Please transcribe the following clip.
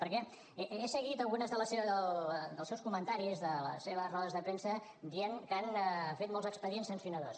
perquè he seguit alguns dels seus comentaris de les seves rodes de premsa dient que han fet molts expedients sancionadors